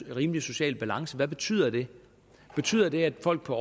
en rimelig social balance hvad betyder det betyder det at folk på